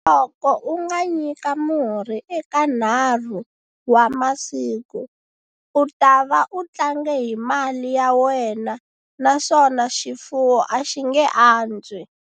Loko u nga nyika murhi eka 3 wa masiku, u ta va u tlange hi mali ya wena naswona xifuwo a xi nge antswi.